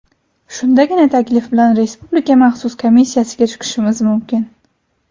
Shundagina taklif bilan Respublika maxsus komissiyasiga chiqishimiz mumkin”.